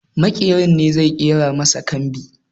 Maƙeri ne zai ƙera masa kambi